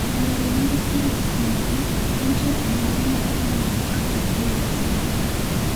Yore maga thiedho thiamin, en tiyo kode yedhe ma imuonyo kata e yor sindan.